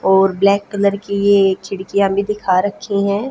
और black colour की ये खिड़कियां भी दिखा रखी हैं।